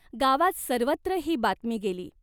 गावात सर्वत्र ही बातमी गेली.